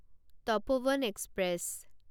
Tapoban express